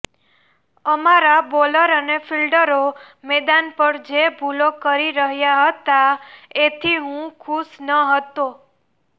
અમારા બોલર અને ફીલ્ડરો મેદાન પર જે ભૂલ કરી રહ્યા હતા એથી હું ખુશ નહોતો